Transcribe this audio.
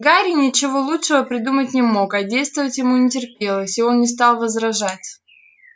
гарри ничего лучшего придумать не мог а действовать ему не терпелось и он не стал возражать